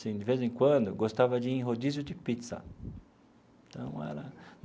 Assim de vez em quando, eu gostava de ir em rodízio de pizza então era.